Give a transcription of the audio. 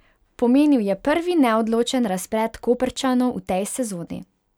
Pomenil je prvi neodločen razplet Koprčanov v tej sezoni.